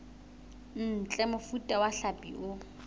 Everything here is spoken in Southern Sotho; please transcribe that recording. ntle mofuta wa hlapi o